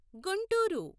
Guntur